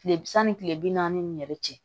Tile sanni kile bi naani ni yɛrɛ cɛ